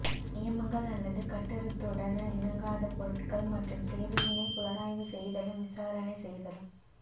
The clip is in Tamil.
நியமங்கள் அல்லது கட்டுறுத்துடன் இணங்காத பொருட்கள் மற்றும் சேவையினை புலனாய்வு செய்தலும் விசாரணை செய்தலும்